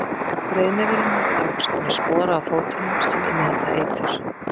Breiðnefurinn hefur nokkurs konar spora á fótunum sem innihalda eitur.